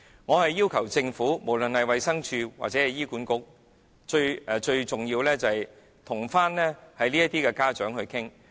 我要求政府，不論是衞生署或醫院管理局也好，最重要的是跟這些人的家長討論。